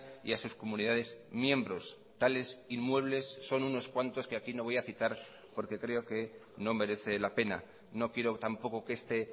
y a sus comunidades miembros tales inmuebles son unos cuantos que aquí no voy a citar porque creo que no merece la pena no quiero tampoco que este